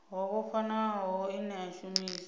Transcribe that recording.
ho vhofhanaho ine a shumisa